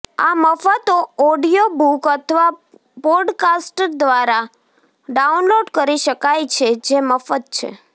આ મફત ઑડિઓબૂક અથવા પોડકાસ્ટ્સ દ્વારા ડાઉનલોડ કરી શકાય છે જે મફત છે